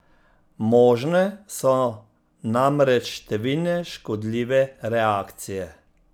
Možne so namreč številne škodljive reakcije.